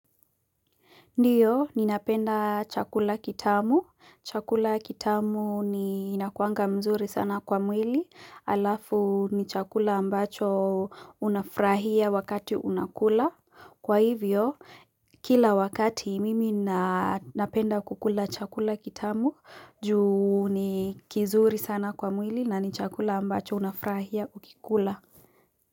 Ndiyo ni napenda chakula kitamu. Chakula kitamu ni nakuanga mzuri sana kwa mwili alafu ni chakula ambacho unafrahia wakati unakula. Kwa hivyo kila wakati mimi napenda kukula chakula kitamu juu ni kizuri sana kwa mwili na ni chakula ambacho unafurahia ukikula.